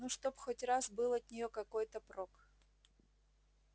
ну чтоб хоть раз был от нее какой-то прок